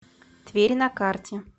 тверь на карте